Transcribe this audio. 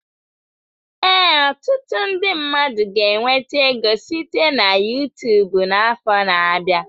Ee, ọtụtụ ndi mmadụ ga enweta ego site na Yutubu n'afọ na abịa.